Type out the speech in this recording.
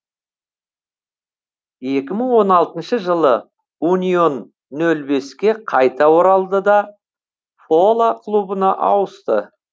екі мың он алтыншы жылы унион нөл беске қайта оралды да фола клубына ауысты